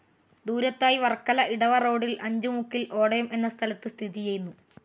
ദൂരത്തായി വർക്കല ഇടവ റോഡിൽ അഞ്ചു മുക്കിൽ ഓടയം എന്ന സ്ഥലത്ത് സ്ഥിതിചെയ്യുന്നു.